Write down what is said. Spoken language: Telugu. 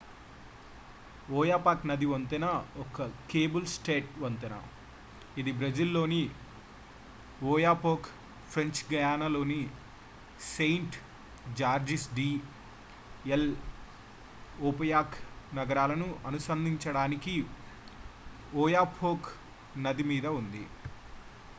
ఓయాపాక్ నది వంతెన ఒక కేబుల్-స్టేడ్ వంతెన ఇది బ్రెజిల్ లోని ఓయాపోక్ ఫ్రెంచ్ గయానాలోని సెయింట్-జార్జెస్ డి ఎల్'ఓయాపోక్ నగరాలను అనుసంధానించడానికి ఒయాపోక్ నది మీద ఉంది